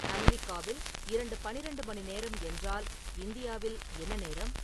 அமெரிக்காவில் இரவு பன்னிரண்டு மணி நேரம் என்றால் இந்தியாவில் என்ன நேரம் .